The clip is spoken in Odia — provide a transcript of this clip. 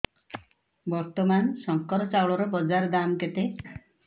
ବର୍ତ୍ତମାନ ଶଙ୍କର ଚାଉଳର ବଜାର ଦାମ୍ କେତେ